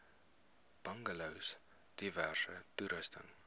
bungalows diverse toerusting